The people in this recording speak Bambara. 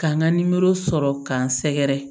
Ka n ka nimoro sɔrɔ k'an sɛgɛrɛ